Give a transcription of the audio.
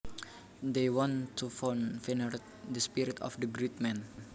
They wanted to venerate the spirit of the great man